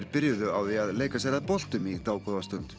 byrjuðu á því að leika sér að boltum í dágóða stund